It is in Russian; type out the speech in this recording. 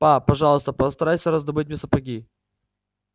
па пожалуйста постарайся раздобыть мне сапоги